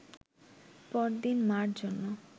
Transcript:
পরদিন মা’র জন্য